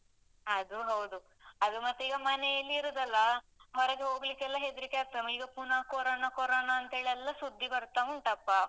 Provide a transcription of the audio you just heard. ಅದು ಹೌದು. ಅದು ಮತ್ತೆ ಈಗ ಮನೆಯಲ್ಲೇ ಇರುದಲ್ಲ ಹೊರಗೆ ಹೋಗ್ಲಿಕ್ಕೆಲ್ಲ ಹೆದ್ರಿಕೆ ಆಗ್ತದೆ. ಈಗ ಪುನ ಕೊರೊನ ಕೊರೊನ ಅಂತೇಳೆಲ್ಲ ಸುದ್ದಿ ಬರ್ತಾ ಉಂಟಪ್ಪ,